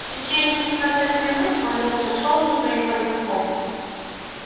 в течение пятнадцати минут он молча шёл за своим проводником